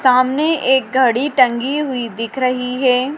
सामने एक घड़ी टंगी हुई दिख रही है।